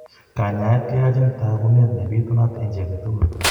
Kanyaayet keyachin taakunet ne bitunat en cchii age tugul.